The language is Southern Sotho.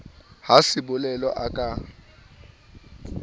ha sebolelo a ka a